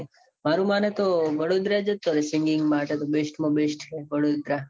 મારું માને તો વડોદરા જતો રહે. singing માટે તો best માં best છે. છે વડોદરા